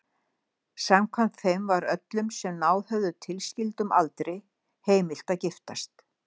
Samkvæmt þeim var öllum sem náð höfðu tilskildum aldri heimilt að giftast.